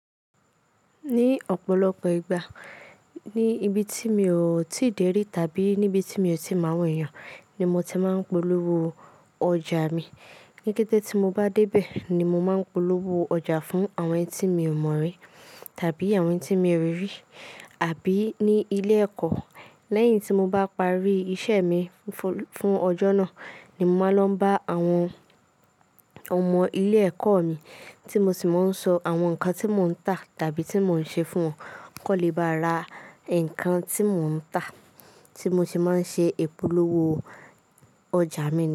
Ní ọ̀pọ̀lọpọ̀ ìgbà, ní ibi tí mi ò tíì dé rí tàbí níbi tí mi ò tíì mọ àwọn èèyàn, ni mo ti máa ń polówó ọjà mi. Níkẹ́tẹ́ tí mo bá dé bẹ̀ ni mo máa ń polówó ọjà fún àwọn eni tí mi ò mọ̀ rí tàbí àwọn eni tí mi ò rí rí. Àbí ní ilé ẹ̀kọ́, lẹ́yìn tí mo bá parí iṣẹ́ mi fún ọjọ́ náà ni mo máa ń lọ bá àwọn ọmọ ilé ẹ̀kọ́ mi tí mo sì máa ń sọ àwọn nǹkan tí mò ń tà tàbí tí mò ń ṣe fún wọn kọ́ lè bá ra nǹkan tí mò ń tà tí mo se máa ń ṣe ìpolówó ọjà mi ni.